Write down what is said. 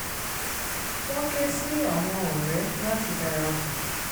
wọ́n ké sí àwọn ọ̀rẹ́ láti dara pọ̀